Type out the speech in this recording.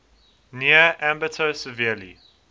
near ambato severely